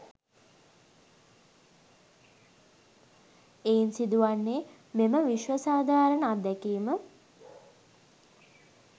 එයින් සිදු වන්නේ මෙම විශ්ව සාධාරණ අත්දැකීම